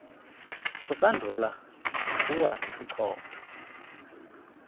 kusandula ukuwa isichotho